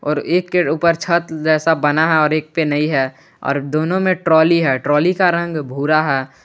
और एक के ऊपर छत जैसा बना है एक पे नहीं है और दोनों में ट्राली है ट्राली का रंग भूरा है।